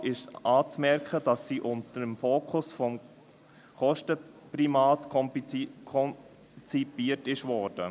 Man merkt der Gesetzesvorlage an, dass sie mit dem Fokus auf die Kosten konzipiert wurde.